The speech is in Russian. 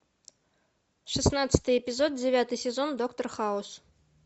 шестнадцатый эпизод девятый сезон доктор хаус